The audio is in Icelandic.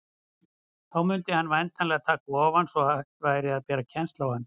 Þá mundi hann væntanlega taka ofan, svo hægt væri að bera kennsl á hann.